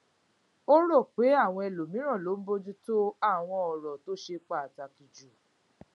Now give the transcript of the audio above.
ó rò pé àwọn ẹlòmíràn ló ń bójú tó àwọn òràn tó ṣe pàtàkì jù